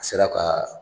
A sera ka